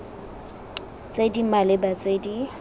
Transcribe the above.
tse di maleba tse di